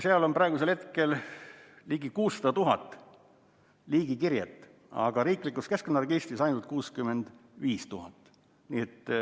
Seal on praegu ligi 600 000 liigikirjet, aga riiklikus keskkonnaregistris on ainult 65 000.